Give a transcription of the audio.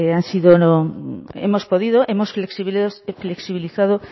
han sido hemos podido hemos flexibilizado